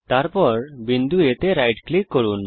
তারপর বিন্দু A তে রাইট ক্লিক করুন